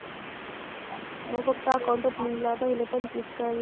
मग फक्त account opening ला पहिले पण